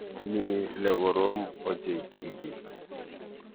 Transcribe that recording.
Mi lekorom ochei tibik.